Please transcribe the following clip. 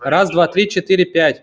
раз два три четыре пять